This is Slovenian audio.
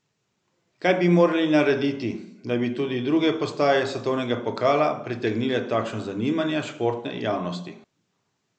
Kaj bi morali narediti, da bi tudi druge postaje svetovnega pokala pritegnile takšno zanimanje športne javnosti?